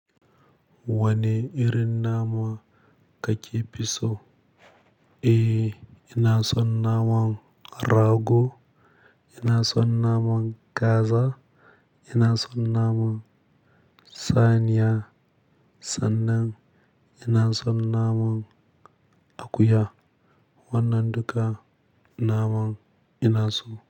Wane irin nama kake fi so? Eh, ina son naman rago, ina son naman kaza, ina son naman saniya sannan ina son naman akuya. Wannan duka naman ina so.